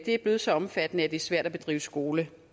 er blevet så omfattende at det er svært at bedrive skole